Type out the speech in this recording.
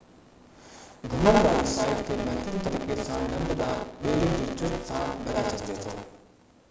گهمڻ واري سائيٽ کي بهترين طريقي سان ڍنڍ ڏانهن ٻيڙي جي ٽرپ سان گڏائي سگهجي ٿو